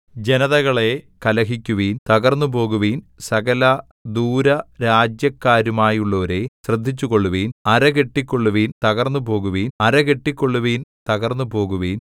ജനതകളേ കലഹിക്കുവിൻ തകർന്നുപോകുവിൻ സകല ദൂരരാജ്യക്കാരുമായുള്ളവരേ ശ്രദ്ധിച്ചുകൊള്ളുവിൻ അര കെട്ടിക്കൊള്ളുവിൻ തകർന്നുപോകുവിൻ അര കെട്ടിക്കൊള്ളുവിൻ തകർന്നുപോകുവിൻ